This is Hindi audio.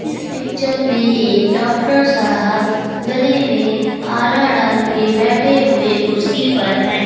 इस पिक्चर मे एक डॉक्टर साहब गले में आला डालके बैठे हुए कुर्सी पर हैं।